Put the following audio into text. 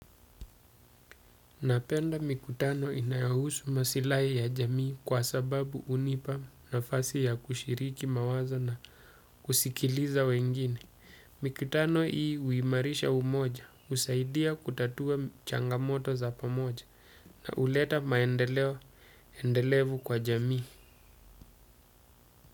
Napenda mikutano inayohusu masilai ya jamii kwa sababu unipa nafasi ya kushiriki mawazo na kusikiliza wengine. Mikutano hii uimarisha umoja, usaidia kutatua changamoto za pamoja na huleta maendeleo endelevu kwa jamii.